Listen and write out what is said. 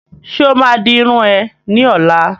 Ṣe o ma di irun é ni ọ̀la?